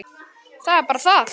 Það er bara það!